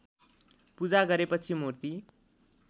पूजा गरेपछि मुर्ति